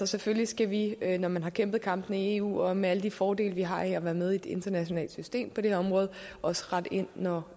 selvfølgelig skal vi når man har kæmpet kampene i eu og med alle de fordele vi har her være med i et internationalt system på det her område og også rette ind når